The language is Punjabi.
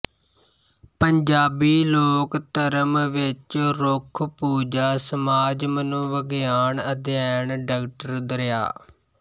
ਪੰਜਾਬੀ ਲੋਕਧਰਮ ਵਿਚ ਰੁੱਖਪੂਜਾ ਸਮਾਜਮਨੋਵਿਗਿਆਨ ਅਧਿਐਨ ਡਾ ਦਰਿਆ